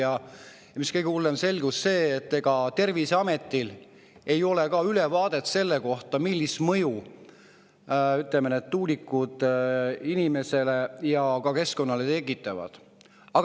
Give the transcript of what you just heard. Aga mis kõige hullem: selgus, et Terviseametil ei ole ülevaadet selle kohta, millist mõju need tuulikud inimesele ja keskkonnale tekitavad.